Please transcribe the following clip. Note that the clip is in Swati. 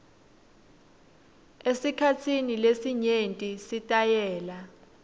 esikhatsini lesinyenti sitayela